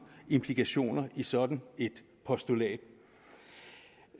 implikationer i sådan et postulat